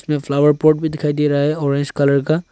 इसमें flower pot भी दिखाई दे रहा है ऑरेंज कलर का।